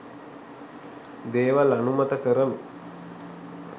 දේවල් අනුමත කරමි.